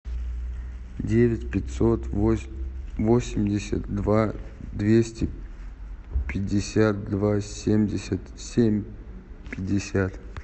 девять пятьсот восемьдесят два двести пятьдесят два семьдесят семь пятьдесят